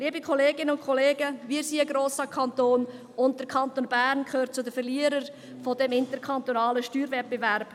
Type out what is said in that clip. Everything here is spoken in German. Liebe Kolleginnen und Kollegen, wir sind ein grosser Kanton, und der Kanton Bern gehört zu den Verlierern dieses interkantonalen Steuerwettbewerbs.